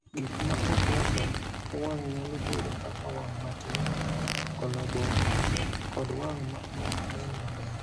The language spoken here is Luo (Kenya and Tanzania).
Gik ma ok rwakore e wang’ nyalo bedo kaka wang’ matin, koloboma, kod wang’ ma ok nen maber.